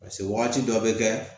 Paseke wagati dɔ bɛ kɛ